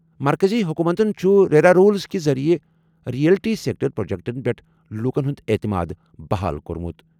مرکزی حکومتن چھُ ریرا رولز کہِ ذٔریعہٕ ریئلٹی سیکٹر پروجیکٹَن پٮ۪ٹھ لوکَن ہُنٛد اعتماد بحال کوٚرمُت۔